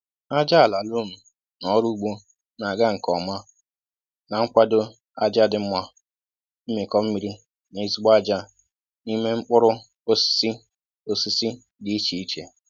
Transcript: Ájá àlà lom na ọrụ ugbo na ga nke ọma, na kwado ájá dị mma, mmikọ mmiri na ezigbo ájá n'ime mkpụrụ osisi osisi dị iche iche